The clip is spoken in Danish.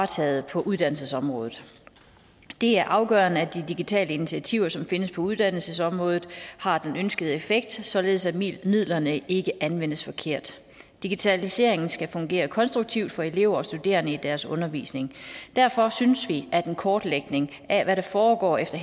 taget på uddannelsesområdet det er afgørende at de digitale initiativer som findes på uddannelsesområdet har den ønskede effekt således at midlerne ikke anvendes forkert digitaliseringen skal fungere konstruktivt for elever og studerende i deres undervisning derfor synes vi at en kortlægning af hvad der foregår efter